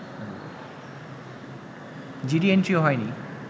GD এন্ট্রিও হয়নি